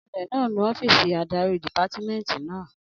Anulẹ̀ náà ń nu ọ́fìsì adarí dìpámẹ́ẹ̀ntì náà